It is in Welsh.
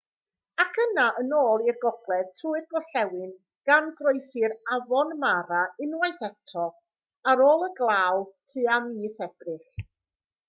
ac yna yn ôl i'r gogledd trwy'r gorllewin gan groesi'r afon mara unwaith eto ar ôl y glaw tua mis ebrill